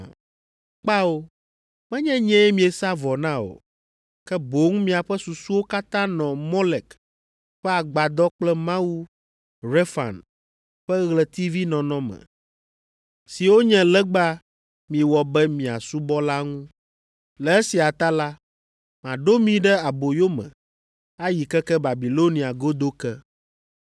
Kpao, menye nyee miesa vɔ na o, ke boŋ miaƒe susuwo katã nɔ Molek ƒe agbadɔ kple mawu Refan ƒe ɣletivinɔnɔme, siwo nye legba miewɔ be miasubɔ la ŋu. Le esia ta la, maɖo mi ɖe aboyo me, ayi keke Babilonia godo ke.’